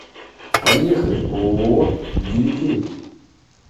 поехали ооо дивикей